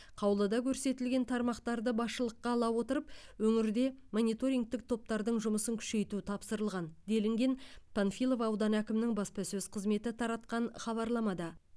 қаулыда көрсетілген тармақтарды басшылыққа ала отырып өңірде мониторингтік топтардың жұмысын күшейту тапсырылған делінген панфилов ауданы әкімінің баспасөз қызметі таратқан хабарламада